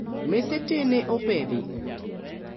Mese tee ne opedhi